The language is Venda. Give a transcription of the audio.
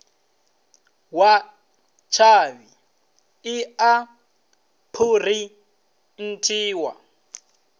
wa tshavhi i a phurinthiwa